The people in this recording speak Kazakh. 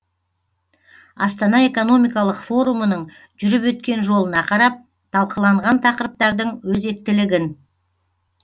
астана экономикалық форумының жүріп өткен жолына қарап талқыланған тақырыптардың өзектілігін